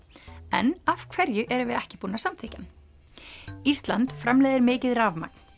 en af hverju erum við ekki búin að samþykkja hann ísland framleiðir mikið rafmagn